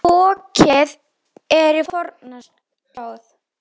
Fokið er í forna slóð.